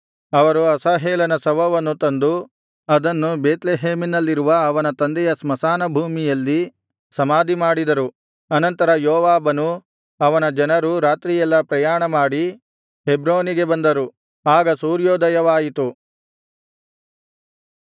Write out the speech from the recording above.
ಅವರು ಅಸಾಹೇಲನ ಶವವನ್ನು ತಂದು ಅದನ್ನು ಬೇತ್ಲೆಹೇಮಿನಲ್ಲಿರುವ ಅವನ ತಂದೆಯ ಸ್ಮಶಾನಭೂಮಿಯಲ್ಲಿ ಸಮಾಧಿಮಾಡಿದರು ಅನಂತರ ಯೋವಾಬನೂ ಅವನ ಜನರೂ ರಾತ್ರಿಯೆಲ್ಲಾ ಪ್ರಯಾಣಮಾಡಿ ಹೆಬ್ರೋನಿಗೆ ಬಂದರು ಆಗ ಸೂರ್ಯೋದಯವಾಯಿತು